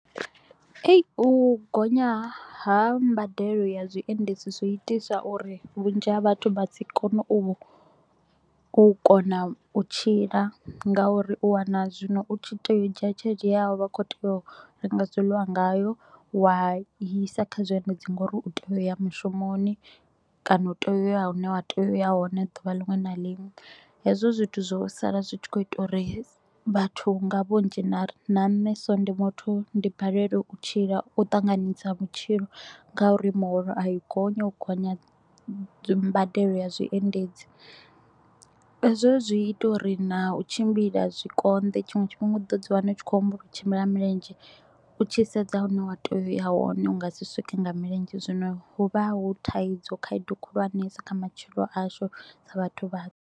Ei u gonya ha mbadelo ya zwiendedzi zwi itisa u ri vhunzhi ha vhathu vha si kone u u kona u tshila nga u ri u wana zwino u tshi tea u dzhia tshelede ye ya vha u kho tea u renga zwiḽiwa ngayo. Wa i isa kha zwiendedzi nga u ri u tea u ya mushumoni kana u tea u ya hune wa tea u ya hone duvha linwe na linwe. Hezwo zwithu zwo sala zwi tshi kho u ita uri vhathu nga vhunzhi na ri na nne so ndi muthu ndi balelwe u tshila u ṱanganyisa vhutshilo ngauri muholo a i gonyi, hu gonya dzi mbadelo ya zwiendedzi. Hezwo zwi ita u ri na u tshimbila zwi konḓe tshiṅwe tshifhinga u ḓo dzi wana u tshi kho u humbula u tshimbila nga milenzhe. U tshi sedza hune wa tea u ya hone u nga si swike nga milenzhe, zwino hu vha hu thaidzo, khaedu khulwanesa kha matshelo ashu sa vhathu vhatswu.